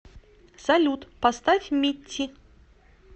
салют поставь митти